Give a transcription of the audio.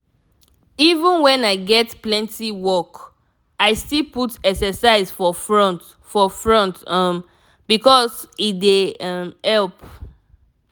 even when i get plenty work i still put exercise for front for front um because e dey um help.